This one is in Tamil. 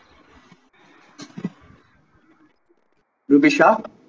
ரூபிஷா